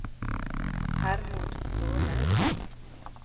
Hermod Kvåle